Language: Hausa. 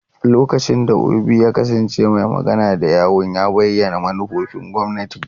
Lokacin da Obi ya kasance mai magana da yawun, ya bayyana manufofin gwamnati.